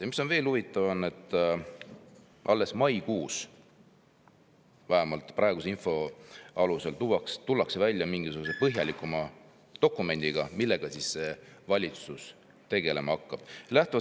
Ja mis on veel huvitav: alles maikuus, vähemalt praeguse info kohaselt, tullakse välja mingisuguse põhjalikuma dokumendiga selle kohta, millega see valitsus tegelema hakkab.